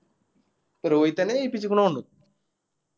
രോഹിത്തന്നെ ജയിപ്പിച്ച്ക്കുണു തൊന്നിണ്ട്